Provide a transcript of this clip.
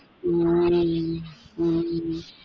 உம் உம் உம்